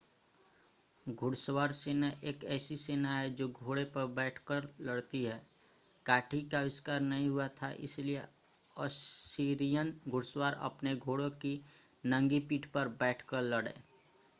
घुड़सवार सेना एक ऐसी सेना है जो घोड़े पर बैठकर लड़ती है काठी का आविष्कार नहीं हुआ था इसलिए असीरियन घुड़सवार अपने घोड़ों की नंगी पीठ पर बैठकर लड़े